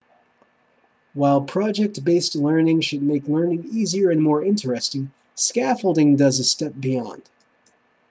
while project based learning should make learning easier and more interesting scaffolding goes a step beyond